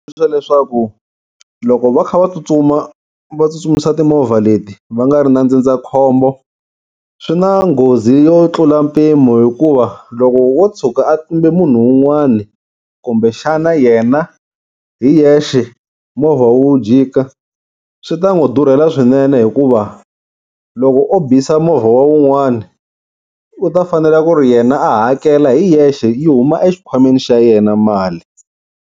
Leswaku loko va kha va tsutsuma va tsutsumisa timovha leti va nga ri na ndzindzakhombo swi na nghozi yo tlula mpimo hikuva loko wo tshuka a tlumbe munhu wun'wani kumbexana yena hi hexe movha wu jika swi ta n'wi durhela swinene, hikuva loko o bisa movha wa un'wana u ta fanele ku ri yena a hakela hi yexe yi huma exikhwameni xa yena mali.